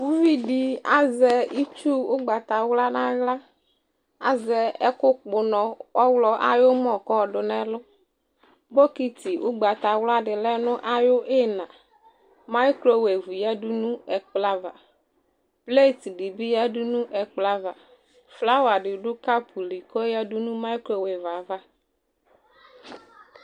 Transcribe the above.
uvidi azɛ itsu ugbata wla nu axĺa azɛ ɛku kpunɔ ɔxlɔ ayumɔ ku oyadunu ɛmɔ bokiti ugbata wla di lɛ nu ayi ina ayu uklo awu yɛ ya du nu ɛkplɔ ava flast dibi ya du nu ɛplɔava flawa di du cɔpuli ku aya du nu ɛplɔyɛ ava